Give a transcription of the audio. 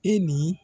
E ni